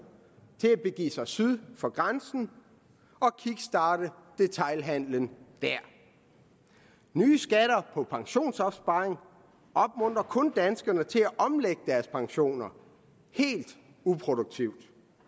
til at begive sig syd for grænsen og kickstarte detailhandelen der nye skatter på pensionsopsparing opmuntrer kun danskerne til at omlægge deres pensioner helt uproduktivt